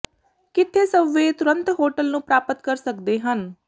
ਕਿੱਥੇ ਸਬਵੇਅ ਤੁਰੰਤ ਹੋਟਲ ਨੂੰ ਪ੍ਰਾਪਤ ਕਰ ਸਕਦੇ ਹਨ